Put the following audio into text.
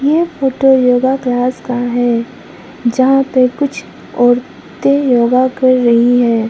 यह photo yoga class का है जहां पे कुछ औरतें योगा कर रही हैं।